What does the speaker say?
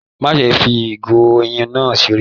Má ṣe fí igo oyin náà seré!